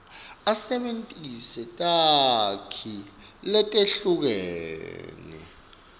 asebentise takhi letehlukene